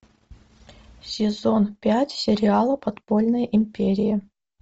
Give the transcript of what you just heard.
сезон пять сериала подпольная империя